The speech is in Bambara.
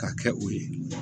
K'a kɛ o ye